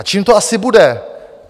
A čím to asi bude?